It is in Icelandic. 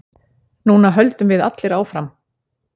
Núna höldum við allir áfram.